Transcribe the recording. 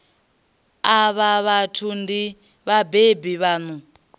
avho vhathu ndi vhabebi vhaṋu